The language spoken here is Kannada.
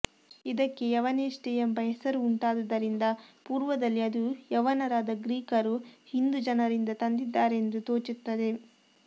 ಯಿದಕ್ಕೆ ಯವನೇಷ್ಟಯೆಂಬ ಹೆಸರು ಉಂಟಾದುದರಿಂದ ಪೂರ್ವದಲ್ಲಿ ಅದು ಯವನರಾದ ಗ್ರೀಕರು ಹಿಂದು ಜನರಿಂದ ತಂದಿದ್ದಾರೆಂದು ತೋಚುತ್ತದೆ